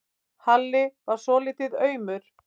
Halli varð svolítið aumur.